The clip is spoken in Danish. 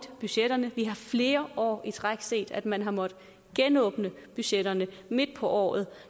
budgetterne vi har flere år i træk set at man har måttet genåbne budgetterne midt på året